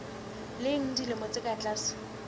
leng dilemo tse ka tlase